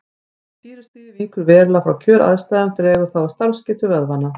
Ef sýrustigið víkur verulega frá kjöraðstæðum dregur það úr starfsgetu vöðvanna.